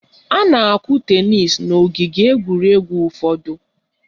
A na-akụ tenis n' ogige egwuregwu ụfọdụ